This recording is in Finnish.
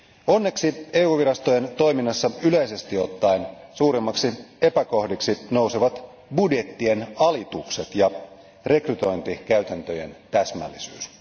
Onneksi EU virastojen toiminnassa yleisesti ottaen suurimmiksi epäkohdiksi nousevat budjettien alitukset ja rekrytointikäytäntöjen täsmällisyys.